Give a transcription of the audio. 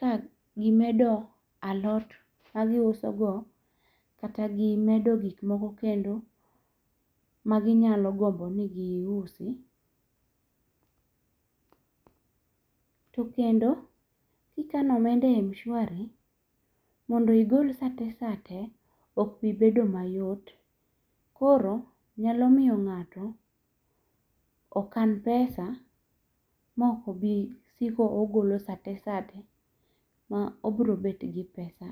ka gimedo alot ma giusogo, kata gimedo gikmoko kendo maginyalo gombo ni giusi. To kendo, kikano omenda e Mshwari, mondo igol sate sate, okbibedo mayot. Koro nyalo miyo ngáto okan pesa maok obisiko ogolo sate sate ma obro bet gi pesa .